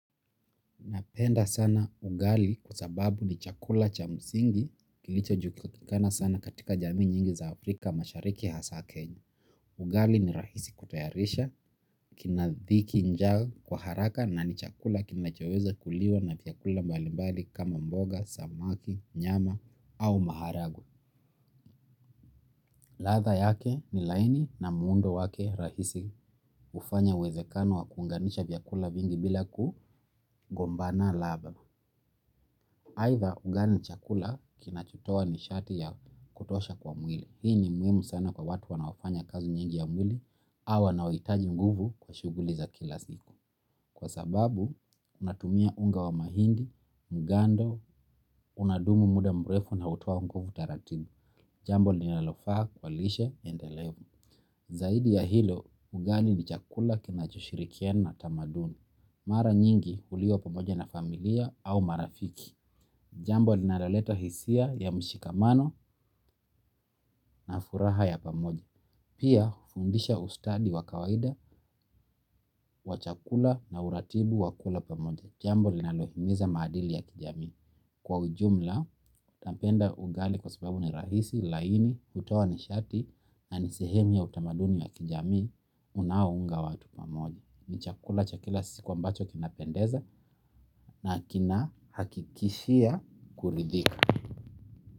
Napenda sana ugali kwa sababu ni chakula cha msingi kilichojulikana sana katika jamii nyingi za Afrika Mashariki hasa Kenya. Ugali ni rahisi kutayarisha, kinadhiki njaa kwa haraka na ni chakula kinachoweza kuliwa na vyakula mbalimbali kama mboga, samaki, nyama au maharagwe. Ladha yake ni laini na muundo wake rahisi hufanya uwezekano wa kuunganisha vyakula vingi bila kugombana ladha. Aidha ugali ni chakula kinachotoa nishati ya kutosha kwa mwili. Hii ni muhimu sana kwa watu wanaofanya kazi nyingi ya mwili au wanaohitaji nguvu kwa shughuli za kila ziku. Kwa sababu unatumia unga wa mahindi, mgando, unadumu muda mrefu na hutoa nguvu taratibu. Jambo linalofaa kwa lishe endelevu. Zaidi ya hilo, ugali ni chakula kinachoshirikiana na tamaduni. Mara nyingi huliwa pamoja na familia au marafiki. Jambo linaloleta hisia ya mshikamano na furaha ya pamoja. Pia hufundisha ustadi wa kawaida wa chakula na uratibu wa kula pamoja. Jambo linalohimiza maadili ya kijamii. Kwa ujumla, napenda ugali kwa sababu ni rahisi, laini, hutoa nishati na ni sehemu ya utamaduni ya kijamii unaounga watu pamoja. Ni chakula cha kila siku ambacho kinapendeza na kinahakikishia kuridhika.